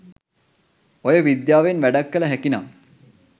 ඔය විද්‍යාවෙන් වැඩක් කළ හැකිනම්